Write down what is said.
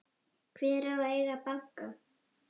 Hver á að eiga banka?